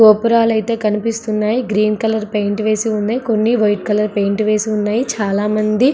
గోపురాలైతే కనిపిస్తున్నాయి. Green colour paint వేసి ఉన్నాయ్. కొన్ని వైట్ కలర్ పెయింట్ వేసి ఉన్నాయ్. చాలా మంది--